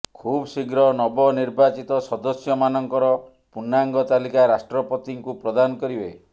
ଖୁବ୍ ଶୀଘ୍ର ନବନିର୍ବାଚିତ ସଦସ୍ୟମାନଙ୍କର ପୂର୍ଣ୍ଣାଙ୍ଗ ତାଲିକା ରାଷ୍ଟ୍ରପତିଙ୍କୁ ପ୍ରଦାନ କରିବେ